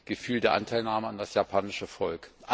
Gefühl der Anteilnahme an das japanische Volk!